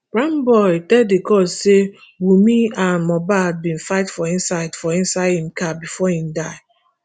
primeboy tell di court say wunmi and mohbad bin fight for inside for inside im car bifor im die